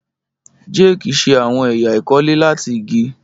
Jake ṣe awọn ẹya ikole lati igi